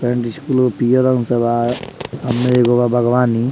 And school पियर रंग से बा सामने एगो बा बागवानी।